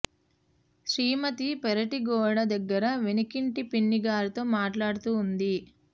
శ్రీమతి పెరటి గోడ దగ్గర వెనకింటి పిన్ని గారితో మాట్లాడుతూ వుంది